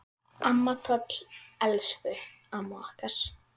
Amma Toll, elsku amma okkar.